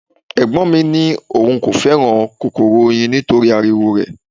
Ẹ̀gbọ́n mi ní òun kò fẹ́ràn kòkòrò oyin nítorí ariwo rẹ̀.